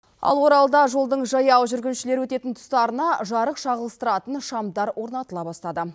ал оралда жолдың жаяу жүргіншілер өтетін тұстарына жарық шағылыстыратын шамдар орнатыла бастады